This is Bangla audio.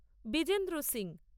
বিজেন্দ্র সিং